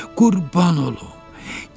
Qurban olum!